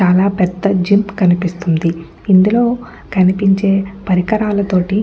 చాలా పెద్ద జీప్ కనిపిస్తుంది ఇందులో కనిపించే పరికరాల తోటి.